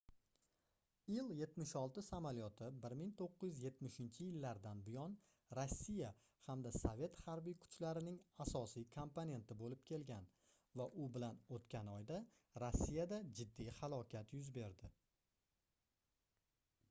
il-76 samolyoti 1970-yillardan buyon rossiya hamda sovet harbiy kuchlarining asosiy komponenti boʻlib kelgan va u bilan oʻtgan oyda rossiyada jiddiy halokat yuz berdi